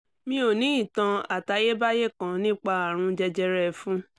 mi ò ní ìtàn àtayébáyé kan nípa àrùn jẹjẹrẹ ẹ̀fun